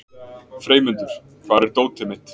Freymundur, hvar er dótið mitt?